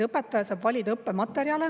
Õpetaja saab valida õppematerjale.